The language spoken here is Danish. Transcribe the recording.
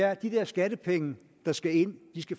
at de der skattepenge der skal ind